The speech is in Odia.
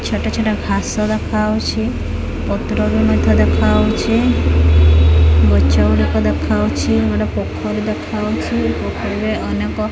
ଛୋଟ ଛୋଟ ଘାସ ଦେଖାହୋଉଛି ପତ୍ର ବି ମଧ୍ୟ ଦେଖା ହୋଉଛି ଗଛ ଗୁଡ଼ିକ ଦେଖାହୋଉଛି ଗୋଟେ ପୋଖରୀ ଦେଖା ହୋଉଛି ପୋଖରୀରେ ଅନେକ --